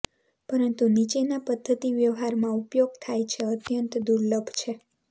પરંતુ નીચેના પદ્ધતિ વ્યવહારમાં ઉપયોગ થાય છે અત્યંત દુર્લભ છે